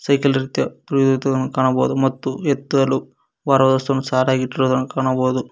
ವೇಕಿಲ್ ರೀತಿಯ ತುಳಿಯುದನ್ನು ಕಾಣಬಹುದು ಮತ್ತು ಎತ್ತಲು ಭಾರ ವಸ್ತುನು ಸಾಲಾಗಿ ಇಟ್ಟಿರುದನ್ನು ಕಾಣಬಹುದು.